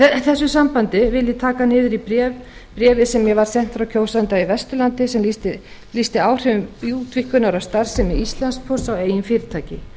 í þessu sambandi vil ég lesa úr bréfi sem mér var sent frá kjósanda á vesturlandi sem lýsti áhrifum útvíkkunar af starfsemi íslandspósts á eigin fyrirtæki